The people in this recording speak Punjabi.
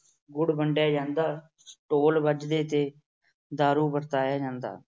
ਗੁੜ ਵੰਡਿਆ ਜਾਂਦਾ, ਢੋਲ ਵੱਜਦੇ ਤੇ ਦਾਰੂ ਵਰਤਾਈ ਜਾਂਦੀ।